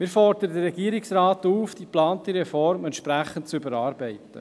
Wir fordern den Regierungsrat auf, die geplante Reform entsprechend zu überarbeiten.